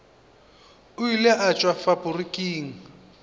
o ile a tšwa faporiking